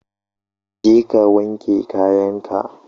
Je ka wanke kayan ka!